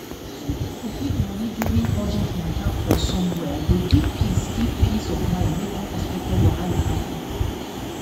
to get complete money during urgent matter for somwhere dey give peace give peace of mind when unexpected wahala happen